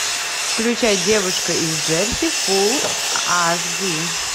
включай девушка из джерси фул аш ди